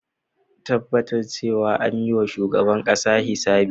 Tabbatar cewa an yi wa shugaban kasa hisabi.